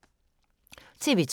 TV 2